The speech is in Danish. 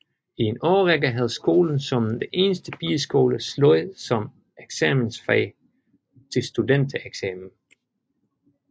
I en årrække havde skolen som den eneste pigeskole sløjd som eksamensfag til studentereksamen